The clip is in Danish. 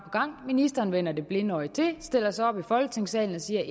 gang ministeren vender det blinde øje til stiller sig op i folketingssalen og siger at